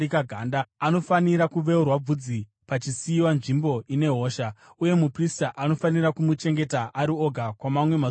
anofanira kuveurwa bvudzi pachisiyiwa nzvimbo ine hosha, uye muprista anofanira kumuchengeta ari oga kwamamwe mazuva manomwe.